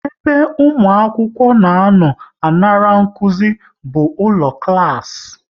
Ebe ụmụ akwụkwọ na anọ a ṅara nkụzi bụ ụlọ klas